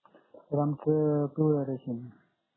sir आमचं पिवळं ration